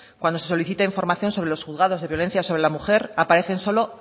cuando se solicite información sobre los juzgados de violencia sobre la mujer aparecen solo